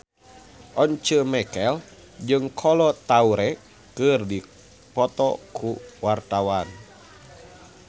Once Mekel jeung Kolo Taure keur dipoto ku wartawan